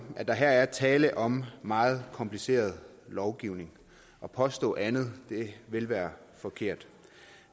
at der her er tale om meget kompliceret lovgivning at påstå andet ville være forkert